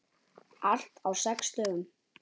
Allt á sex dögum.